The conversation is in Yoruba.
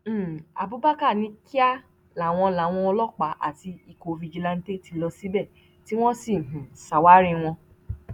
um abubakar ní kíá làwọn làwọn ọlọpàá àti ikọ fìjìláńtẹ ti lọ síbẹ tí wọn sì um ṣàwárí wọn